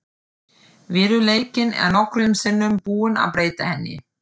Veruleikinn er nokkrum sinnum búinn að breyta henni.